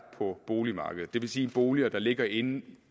på boligmarkedet det vil sige boliger der ligger inde